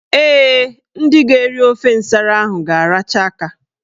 Ee, ndị ga-eri ofe nsara ahụ ga-aracha aka.